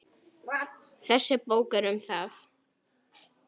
Þessi bók er um það.